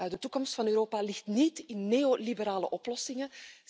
De toekomst van Europa ligt niet in neoliberale oplossingen.